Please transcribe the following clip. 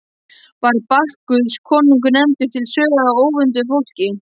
Var Bakkus konungur nefndur til sögu af óvönduðu fólki.